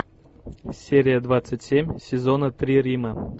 серия двадцать семь сезона три рима